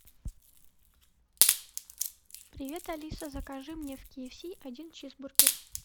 привет алиса закажи мне в кфс один чизбургер